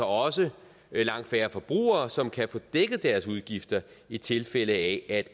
også langt færre forbrugere som kan få dækket deres udgifter i tilfælde af at